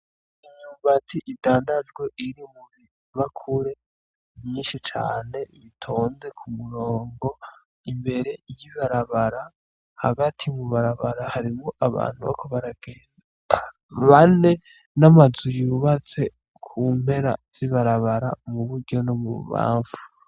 Imyumbati idandajwe iri mubibakure myinshi cane itonze kumurongo imbere y'ibarabara hagati mubarabara harimwo abantu bariko baragenda bane n'amazu yubatse kumpera z'ibarabara muburyo nomububamfu.